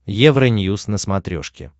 евроньюз на смотрешке